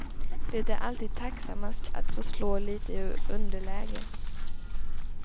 Det är alltid tacksammast, att få slå lite ur underläge.